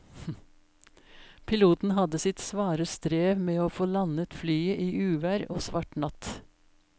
Piloten hadde sitt svare strev med å få landet flyet i uvær og svart natt.